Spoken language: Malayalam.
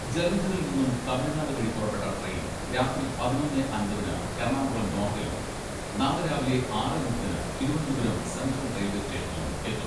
ജലന്ധറിൽ നിന്നും തമിഴ്നാട് വഴി പുറപ്പെട്ട ട്രെയിൻ രാത്രി പതിനൊന്നേ അമ്പതിന് എറണാകുളം നോർത്തിലും, നാളെ രാവിലെ ആറെ മുപ്പതിന് തിരുവനന്തപുരം സെൻട്രൽ റെയിൽവെ സ്റ്റേഷനിലും എത്തും.